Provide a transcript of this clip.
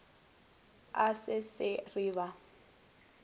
a se se re ba